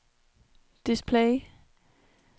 display